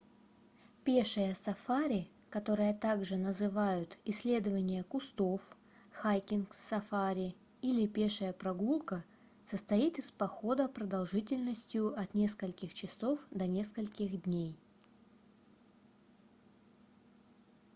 пешее сафари которое также называют исследование кустов хайкинг-сафари или пешая прогулка состоит из похода продолжительностью от нескольких часов до нескольких дней